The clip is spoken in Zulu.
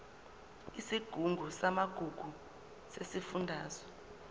isigungu samagugu sesifundazwe